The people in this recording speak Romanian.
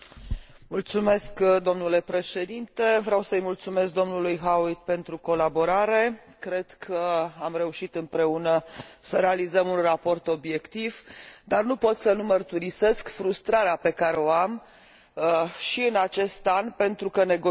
Vreau să îi mulțumesc dlui Howitt pentru colaborare. Cred că am reușit împreună să realizăm un raport obiectiv, dar nu pot să nu mărturisesc frustrarea pe care o am și în acest an, pentru că negocierile cu